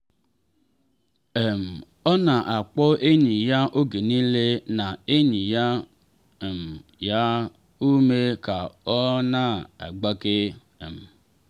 um ọ na akpọ enyi ya oge niile na enye um ya ume ka ọ na-agbake. um